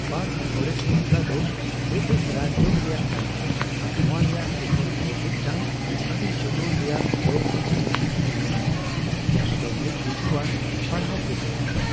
Park forest ᱵᱟᱝᱞᱟ ᱫᱚ British Raj ᱡᱩᱜᱽ ᱨᱮᱭᱟᱜ ᱠᱟᱱᱟ ᱟᱨ ᱱᱚᱣᱟ ᱨᱮᱭᱟᱜ ᱮᱛᱚᱦᱚᱵ ᱠᱷᱚᱱ ᱢᱤᱫᱴᱟᱝ ᱟᱹᱰᱤ ᱡᱚᱛᱚᱱ ᱨᱮᱭᱟᱜ ᱞᱚᱜᱽ ᱯᱩᱛᱷᱤ ᱢᱮᱱᱟᱜᱼᱟ, ᱡᱟᱦᱟᱸ ᱫᱚ ᱢᱤᱫ ᱨᱤᱡᱷᱟᱹᱣᱟᱱ ᱯᱟᱲᱦᱟᱣ ᱯᱩᱛᱷᱤ ᱠᱟᱱᱟ ᱾